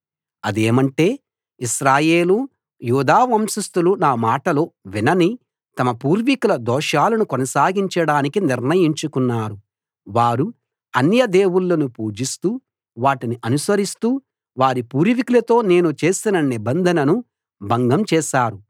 అదేమంటే ఇశ్రాయేలు యూదా వంశస్థులు నా మాటలు వినని తమ పూర్వీకుల దోషాలను కొనసాగించడానికి నిర్ణయించుకున్నారు వారు అన్య దేవుళ్ళను పూజిస్తూ వాటిని అనుసరిస్తూ వారి పూర్వికులతో నేను చేసిన నిబంధనను భంగం చేశారు